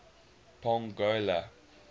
pongola